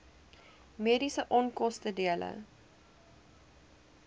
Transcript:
mediese onkoste dele